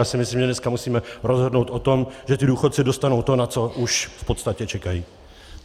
Já si myslím, že dneska musíme rozhodnout o tom, že ti důchodci dostanou to, na co už v podstatě čekají.